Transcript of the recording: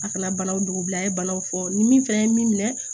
A kana banaw don a ye banaw fɔ ni min fana ye min minɛ